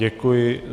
Děkuji.